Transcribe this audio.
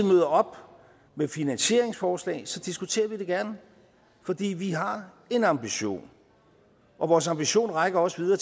møder op med finansieringsforslag diskuterer vi det gerne fordi vi har en ambition og vores ambition rækker også videre